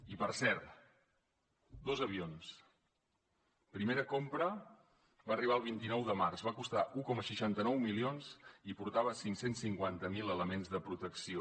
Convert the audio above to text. i per cert dos avions primera compra va arribar el vint nou de març va costar un coma seixanta nou milions i portava cinc cents i cinquanta miler elements de protecció